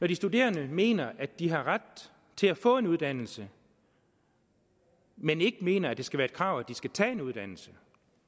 de studerende mener at de har ret til at få en uddannelse men ikke mener at det skal være et krav at de skal tage en uddannelse